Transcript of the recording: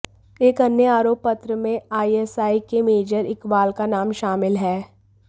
एक अन्य आरोप पत्र में आईएसआई के मेजर इकबाल का नाम शामिल है